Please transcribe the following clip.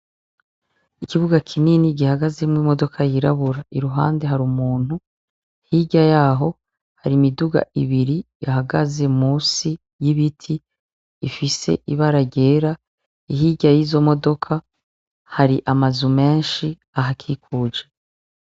Ikibuga kinini gihagazemwo imodoka yirabura, iruhande har'umuntu hirya yaho har'imiduga ibiri ihagaze munsi y'ibiti ifise ibara ryera ,hirya y'izo modoka har'amazu menshi ahakikuje.